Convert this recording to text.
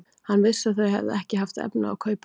Hann vissi að þau höfðu ekki haft efni á að kaupa hann.